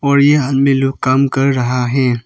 और यहां में लोग काम कर रहा है।